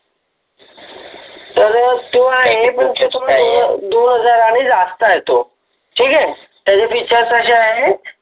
तर तो आहे तो आहे दोन हजाराने जास्त आहे तो ठीक आहे त्याचे फीचर्स असे आहे